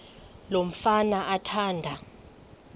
lo mfana athanda